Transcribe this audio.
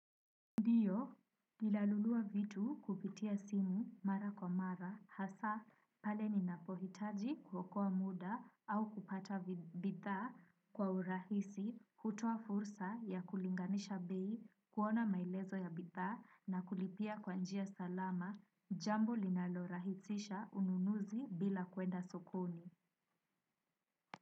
Ndiyo nina nunua vitu kupitia simu mara kwa mara hasa pale ninapo hitaji kukoa muda au kupata bidhaa kwa urahisi kutoa fursa ya kulinganisha bei kuona maelezo ya bidhaa na kulipia kwa njia salama jambo linalo rahisisha ununuzi bila kwenda sokoni.